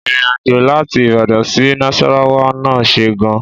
Ìrínàjò làtí Ibàdán si nàsàràwà nà sẹ gan